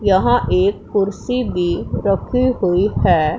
यहां एक कुर्सी भी रखी हुई है।